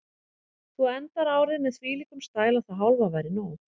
Þú endar árið með þvílíkum stæl að það hálfa væri nóg.